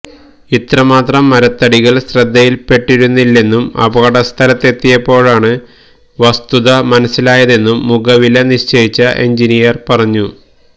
ഇത്രമാത്രം മരത്തടികൾ ശ്രദ്ധയിൽപെട്ടിരുന്നില്ലെന്നും അപകടസ്ഥലത്തെത്തിയപ്പോഴാണ് വസ്തുത മനസ്സിലായതെന്നും മുഖവില നിശ്ചയിച്ച എൻജിനീയർ പറഞ്ഞു